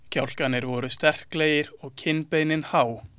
Kjálkarnir voru sterklegir og kinnbeinin há.